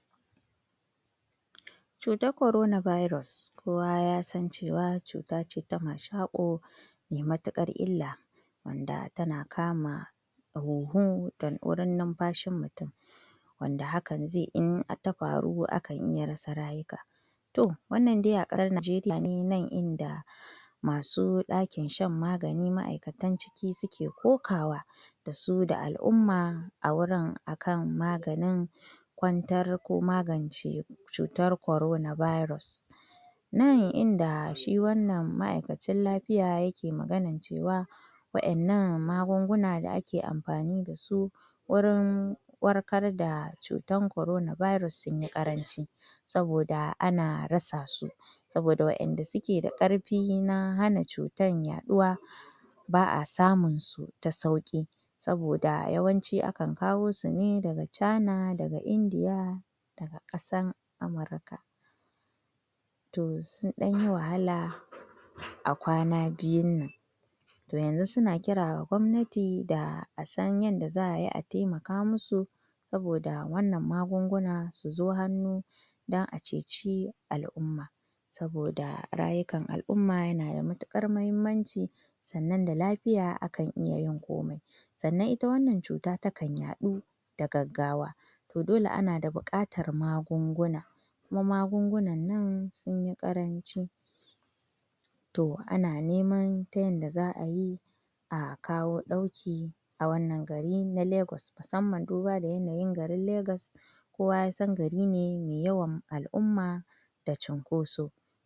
Nan Najeriya ce inda aka kawo mata ɗauki a wani gari Na cutar Coronavirus, wato COVID-19. inda Hukuma daga Amurka da kuma kungiyar ga manyan ƙasashen Afirka ta kawo musu gudunmawa na na magunguna waɗanda za su kare mutane daga kamuwa daga cutar coronavirus en da aka ga ma’aikatun lafiya sun shiga kauyuka daban-daban cikin kauye dan kai musu agaji na magani da rigakafi A yayin da mutanen garin suka shaida wa ’yan jarida, sun ce sun ji daɗin haka don yanzu sun samu ƙwarin gwiwa na kasancewa sun samu magani wanda zai kare su daga kamuwa da cutar Coronavirus. wanda sun ce sun ji matuƙar farin ciki saboda saboda daukin da aka kawo musu, tunda su ba kamar mutane da suke birane waɗanda suke da ke da hanya da manyan asibitoci da zasu iya samun musu, Waɗannan kungiyoyi daga Amurka sun yi matuƙar ƙoƙari da suka kawo musu shi cikin kauyuka suka amfana Ma’aikatan lafiya suma sun gaya wa ’yan jarida cewa suna samun haɗin kan en garin saboda en garin an sami kyakkyawan fahimta tsakaninsu wurin kare kamuwa daga cutar numfashi wato Coronavirus. Toh, a wannan lokaci dai wannan dauki da aka kawo daga Amurka da kungiyar ƙasashen Afirka tana da matuƙar muhimmanci sosai wurin kare mutane, ba ma en kauyen kaɗai ba har da 'yan Najeriya gabaki ɗaya ta yanda baza'a rasa rayukan mutane dayawa ba tsanan kuma a kare su daga barazana a cire su daga haɗarin barazana da tsoro na kamuwa da cutar wannan Coronavirus tana da matuƙar matsala tana haifar da cutar mashako na numfashi zazzabi da sauran su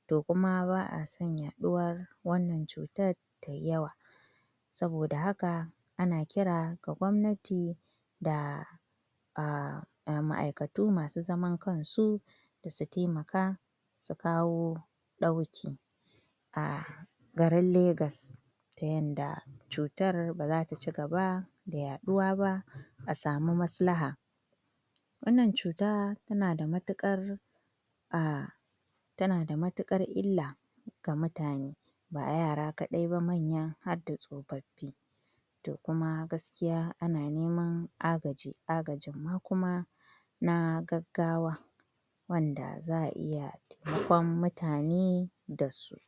toh wannan kungiya ta yi namijin ƙoƙari wajen ganin an dakile kamuwa da wannan cuta na coronavirus a kauyuka harda garin Najeriya kasan najeriya gabaki ɗaya.